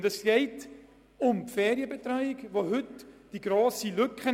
Für die Eltern besteht in diesem Bereich eine grosse Lücke.